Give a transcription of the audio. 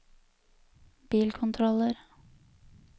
bilkontroller